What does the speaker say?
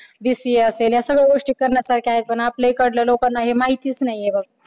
BCA असेल या सगळ्या गोष्टी करण्यासारख्या आहेत पण आपल्या इकडल्या लोकांना हे माहितीच नाहीये बघ.